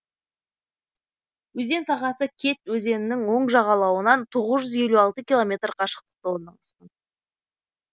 өзен сағасы кеть өзенінің оң жағалауынан тоғыз жүз отыз алты километр қашықтықта орналасқан